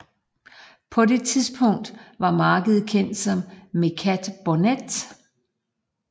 På det tidspunkt var markedet kendt som Mecat Bornet